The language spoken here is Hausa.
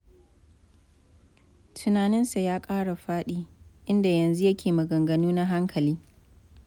Tunaninsa ya ƙara faɗi, inda yanzu yake maganganu na hankali.